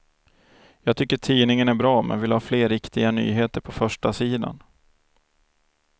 Jag tycker tidningen är bra men vill ha fler riktiga nyheter på förstasidan.